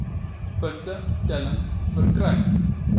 punte tellings verkry